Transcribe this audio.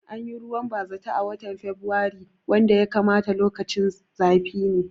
Anyi ruwan bazata a watan a fabirailu wanda ya kamata lokacin zafi ne